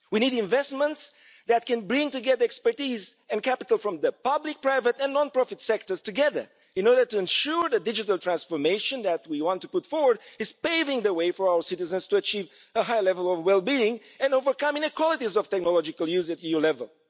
We need investments that can bring together expertise and capital from the public, private and non profit sectors together in order to ensure the digital transformation that we want to put forward is paving the way for all citizens to achieve a high level of well being and overcome inequalities of technological use at EU level.